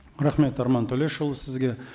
рахмет арман төлешұлы сізге